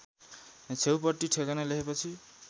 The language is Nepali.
छेउपट्टि ठेगाना लेखेपछि